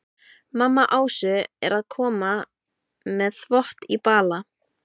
Mamma Ásu er að koma með þvott í bala.